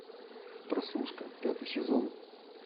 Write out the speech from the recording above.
прослушка пятый сезон